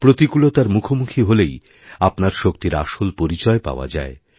প্রতিকূলতার মুখোমুখি হলেই আপনার শক্তির আসল পরিচয় পাওয়া যায়